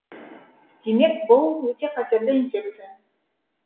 демек бұл өте қатерлі инфекция